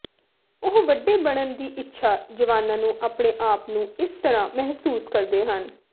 ਉਹ ਵੱਡੇ ਬਣਨ ਦੀ ਇੱਛਾ ਜਵਾਨਾਂ ਨੂੰ ਆਪਣੇ ਆਪ ਨੂੰ ਇਸ ਤਰ੍ਹਾਂ ਮਹਿਸੂਸ ਕਰਦੇ ਹਨ